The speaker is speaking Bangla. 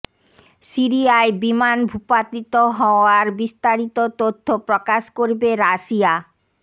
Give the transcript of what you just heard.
সিরিয়ায় বিমান ভূপাতিত হওয়ার বিস্তারিত তথ্য প্রকাশ করবে রাশিয়া